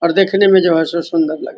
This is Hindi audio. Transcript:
और देखने में जो है सो सुन्दर लगता --